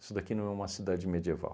Isso daqui não é uma cidade medieval.